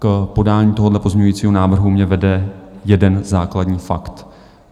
K podání tohohle pozměňujícího návrhu mě vede jeden základní fakt.